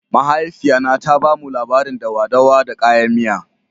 Mahaifiya na ta ba mu labarin dawa-dawa da kayan miya.